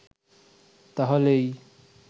তাহলেই